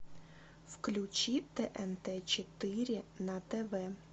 включи тнт четыре на тв